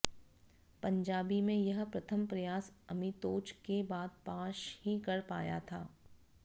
पंजाबी में यह प्रथम प्रयास अमितोज के बाद पाश ही कर पाया था